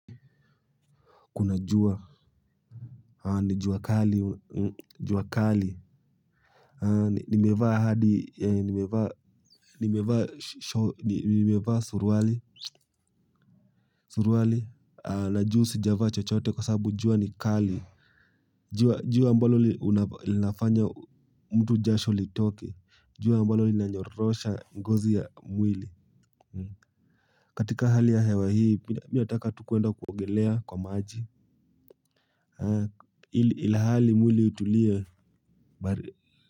Kuna jua. Ni jua kali. Nimevaa suruali. Na juu sijavaa chochote kwa sabu jua ni kali. Jua ambalo linafanya mtu jasho litoke. Jua ambalo linanyorosha ngozi ya mwili. Katika hali ya hewa hii, mi nataka tu kuenda kuongelea kwa maji. Ilhali mwili itulie bari.